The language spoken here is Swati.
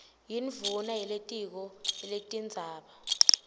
yindvuna yelitiko letindzaba